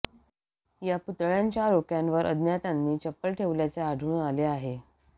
या पुतळ्याच्या डोक्यावर अज्ञातांनी चप्पल ठेवल्याचे आढळून आले आहे